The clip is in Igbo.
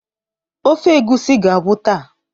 Ofe egusi ga-agwụ taa.